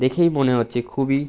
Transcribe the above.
দেখেই মনে হচ্ছে খুবই --